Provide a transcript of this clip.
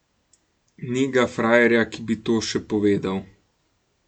Ni ga frajerja, ki bi to še povedal.